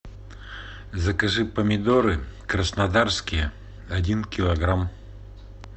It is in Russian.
закажи помидоры краснодарские один килограмм